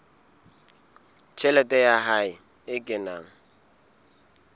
tjhelete ya hae e kenang